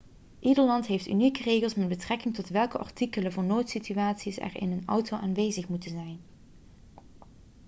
ieder land heeft unieke regels met betrekking tot welke artikelen voor noodsituaties er in een auto aanwezig moeten zijn